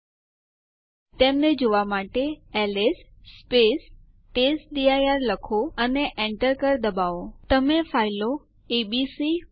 હવે આપણે વાપરી રહ્યા છીએ તે સિસ્ટમ ઉપર યુઝર આઇડીએસ અને ગ્રુપ આઇડીએસ જોઈ શકીએ છીએ